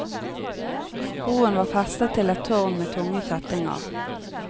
Broen var festet til et tårn med tunge kjettinger.